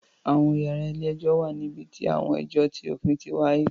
Àwọn yàrá ilé-ẹjọ̀ wà níbi tí àwọn ẹjọ ti òfin ti wáyé